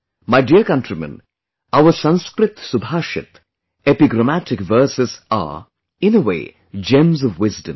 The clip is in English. My dear countrymen, our Sanskrit Subhashit, epigrammatic verses are, in a way, gems of wisdom